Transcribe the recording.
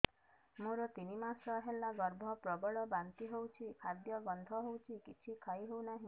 ମୋର ତିନି ମାସ ହେଲା ଗର୍ଭ ପ୍ରବଳ ବାନ୍ତି ହଉଚି ଖାଦ୍ୟ ଗନ୍ଧ ହଉଚି କିଛି ଖାଇ ହଉନାହିଁ